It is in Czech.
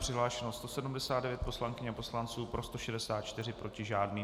Přihlášeno 178 poslankyň a poslanců, pro 176, proti žádný.